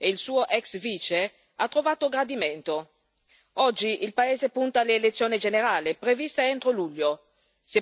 Oggi il paese punta all'elezione generale prevista entro luglio, se possiamo dare credito alla recente dichiarazione del presidente.